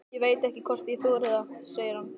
Ég veit ekki hvort ég þori það, segir hann.